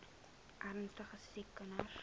ernstige siek kinders